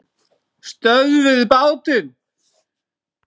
STÖÐVIÐ BÁTINN!